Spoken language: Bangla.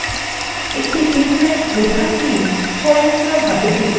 একটা table প্রধান key স্বয়ংক্রিয়ভাবে সূচীবদ্ধ করা থাকে